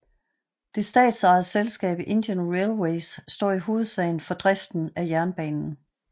Det statsejede selskab Indian Railways står i hovedsagen for driften af jernbanen